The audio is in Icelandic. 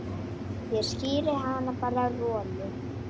Svo bíður hann.